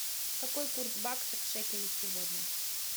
какой курс бакса к шекелю сегодня